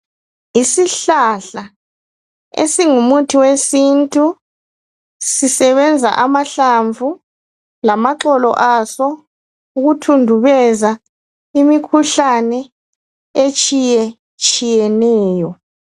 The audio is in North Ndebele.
Isihlahla esingu umuthi wesintu sisebenza amahlamvu lamaxolo aso ukuthundubeza imikhuhlane etshiye tshiyeneyo.